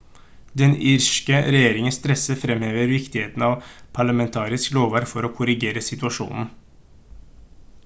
den irske regjeringen stresser fremhever viktigheten av parlamentarisk lovverk for å korrigere situasjonen